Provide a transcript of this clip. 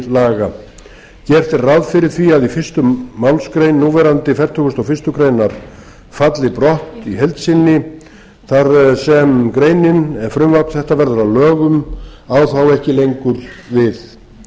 gert er ráð fyrir því að í fyrstu málsgrein núverandi fertugasta og fyrstu grein falli brott í heild efni þar sem greinin ef frumvarp þetta verður að lögum á þá ekki lengur við